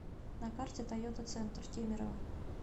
на карте тойота центр кемерово